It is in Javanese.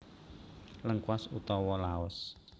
Lengkuas utawa Laos